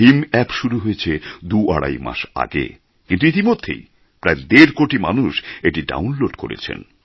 Bhim app শুরু হয়েছে দু আড়াই মাস আগে কিন্তু ইতিমধ্যেই প্রায় দেড়কোটি মানুষ এটি ডাউনলোড করেছেন